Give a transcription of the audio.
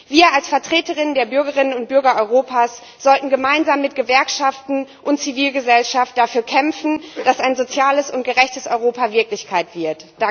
Wir als Vertreterinnen und Vertreter der Bürgerinnen und Bürger Europas sollten gemeinsam mit Gewerkschaften und Zivilgesellschaft dafür kämpfen, dass ein soziales und gerechtes Europa Wirklichkeit wird.